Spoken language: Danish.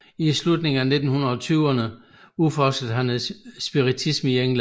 I slutningen af 1920erne udforskede han spiritisme i England